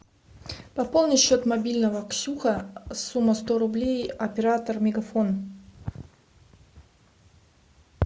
пополни счет мобильного ксюха сумма сто рублей оператор мегафон